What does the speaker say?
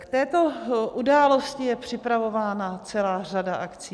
K této události je připravována celá řada akcí.